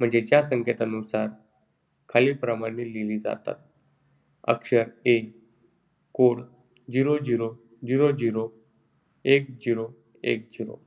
म्हणजे या संकेतानुसार अक्षरे खालीलप्रमाणे लिहिली जातात. अक्षर A code zero zero zero zero एक zero एक zero.